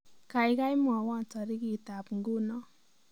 Gaigai mwawon tarikitab nguno